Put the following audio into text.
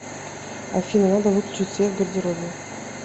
афина надо выключить свет в гардеробе